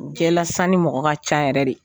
Cɛlasanni mɔgɔ ka ca yɛrɛ de